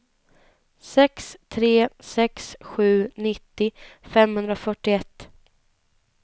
sex tre sex sju nittio femhundrafyrtioett